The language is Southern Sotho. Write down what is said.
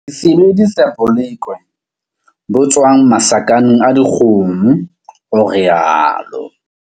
Ke sebedisa bolekwe bo tswang masakeng a dikgomo, o rialo.